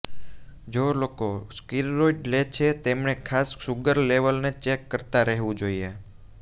જો લોકો સ્ટિરોઈડ લે છે તેમણે ખાસ સુગર લેવલને ચેક કરતા રહેવું જોઈએ